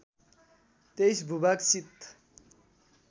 २३ भूभाग शीत